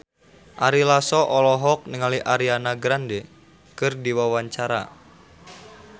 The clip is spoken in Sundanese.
Ari Lasso olohok ningali Ariana Grande keur diwawancara